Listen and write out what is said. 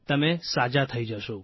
તમે સાજા થઇ જશો